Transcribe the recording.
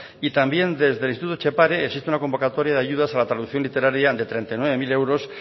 y también desde instituto etxepare existe una convocatoria de ayudas a la traducción literaria de treinta y nueve mil euros